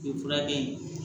U ye fura kɛ yen